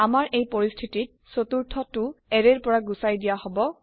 আমাৰ এই পৰিস্থিতি ত চতুৰ্থ টো এৰে ৰ পৰা গুচাই দিয়া হব